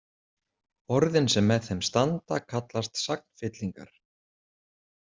Orðin sem með þeim standa kallast sagnfyllingar.